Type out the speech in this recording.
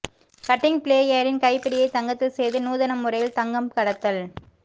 cutting பிளேயரின் கைப்பிடியை தங்கத்தில் செய்து நூதன முறையில் தங்கம் கடத்தல்